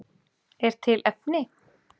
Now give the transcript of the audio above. Er til efni?